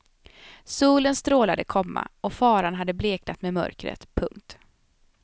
Solen strålade, komma och faran hade bleknat med mörkret. punkt